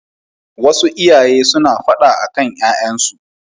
Wasu iyaye suna faɗa akan ƴaƴansu.